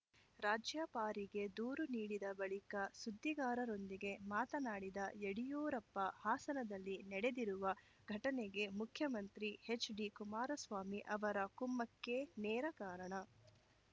ರಾಜ್ಯಪಾರಿಗೆ ದೂರು ನೀಡಿದ ಬಳಿಕ ಸುದ್ದಿಗಾರರೊಂದಿಗೆ ಮಾತನಾಡಿದ ಯಡಿಯೂರಪ್ಪ ಹಾಸನದಲ್ಲಿ ನಡೆದಿರುವ ಘಟನೆಗೆ ಮುಖ್ಯಮಂತ್ರಿ ಎಚ್‌ಡಿಕುಮಾರಸ್ವಾಮಿ ಅವರ ಕುಮ್ಮಕ್ಕೇ ನೇರ ಕಾರಣ